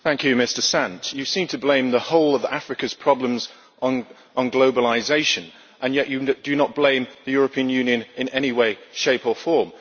Thank you, Mr Sant. You seem to blame the whole of Africa's problems on globalisation, and yet you do not blame the European Union in any way, shape or form.